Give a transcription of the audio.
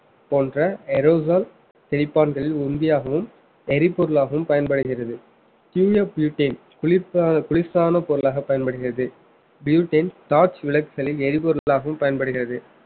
போன்ற தெளிப்பான்களில் எரிபொருளாகவும் பயன்படுகிறது குளிர்ப்ப~ குளிர்சாதன பொருளாக பயன்படுகிறது butane torch விளக்குகளில் எரிபொருளாகவும் பயன்படுகிறது